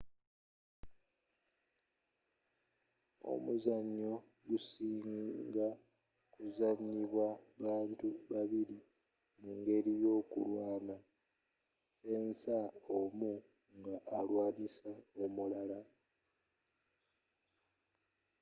omuzzanyo gusinga kuzanyibwa bantu babiri mu'ngeli yokulwaana fensa omu nga alwaanisa omulala